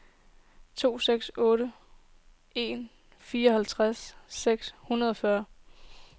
to seks otte en fireoghalvfems seks hundrede og fyrre